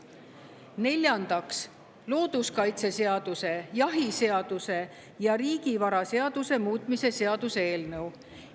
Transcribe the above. Neljandaks, looduskaitseseaduse, jahiseaduse ja riigivaraseaduse muutmise seaduse eelnõu.